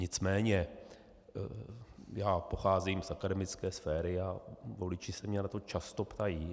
Nicméně já pocházím z akademické sféry a voliči se mě na to často ptají.